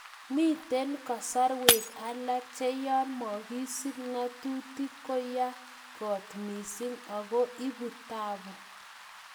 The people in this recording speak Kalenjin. Miten kasarwek alak che yon mokisip ngotutik ko ya kot missing ago ipu taapu.